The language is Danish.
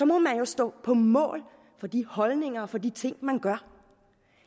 må man jo stå på mål for de holdninger og for de ting man gør